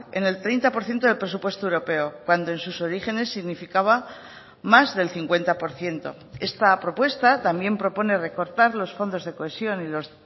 en el treinta por ciento del presupuesto europeo cuando en sus orígenes significaba más del cincuenta por ciento esta propuesta también propone recortar los fondos de cohesión y los